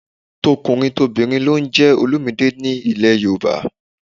Tọkùnrintobìnrin ló ń jẹ́ Olumide nílẹ̀ Yorùbá